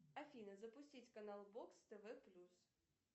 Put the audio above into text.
афина запустить канал бокс тв плюс